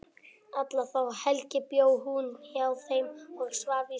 Alla þá helgi bjó hún hjá þeim og svaf í stofunni.